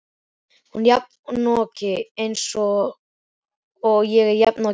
Hún er jafnoki hans eins og ég er jafnoki þinn.